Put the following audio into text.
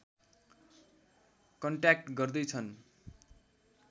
contact गर्दै छन्